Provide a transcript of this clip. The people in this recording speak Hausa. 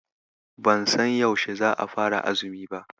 Ban san yaushe za'a fara azumi ba.